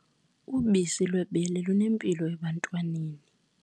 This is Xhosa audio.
Ubisi lwebele lunempilo ebantwaneni.